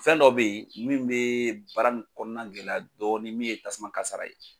Fɛn dɔ bɛ ye min bɛ baara nin kɔnɔna gɛlɛya dɔɔni min ye tasuma kasara ye.